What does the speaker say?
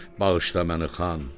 bağışla məni, xan.